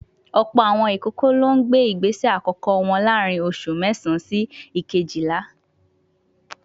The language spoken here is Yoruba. Ọ̀pọ̀ àwọn ìkókó ló gbé ìgbésẹ àkọ́kọ́ wọn láàárín oṣù mẹ́sàán sí ìkéjìlá